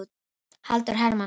Halldór Hermannsson.